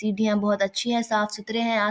सीढ़िया बहुत अच्छी हैं साफ़ सुथरे हैं आ --